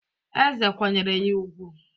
Eze kwanyere ya ugwu